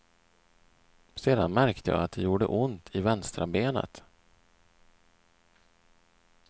Sedan märkte jag att det gjorde ont i vänstra benet.